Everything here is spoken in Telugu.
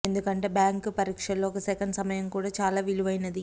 ఎందుకంటే బ్యాంక్ పరీక్షల్లో ఒక సెకన్ సమయం కూడా చాలా విలువైనది